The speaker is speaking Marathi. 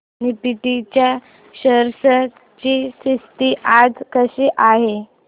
निफ्टी च्या शेअर्स ची स्थिती आज कशी आहे